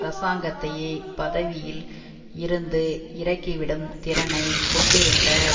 அரசாங்கத்தையே பதவியில் இருந்து இறக்கிவிடும் திறனை கொண்டிருந்த